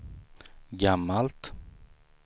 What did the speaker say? gammalt